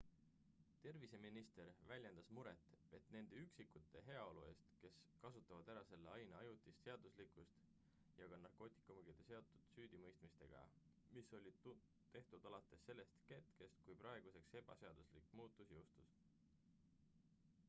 terviseminister väljendas muret nende üksikisikute heaolu eest kes kasutavad ära selle aine ajutist seaduslikkust ja ka narkootikumidega seotud süüdimõistmistega mis olid tehtud alates sellest hetkest kui praeguseks ebaseaduslik muutus jõustus